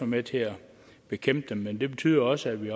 med til at bekæmpe dem men det betyder også at vi